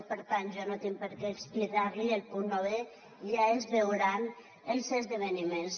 per tant jo no tinc per què explicar li el punt novè ja es veuran els esdeveniments